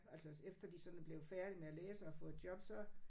Altså også efter de sådan er blevet færdige med at læse og har fået jobs så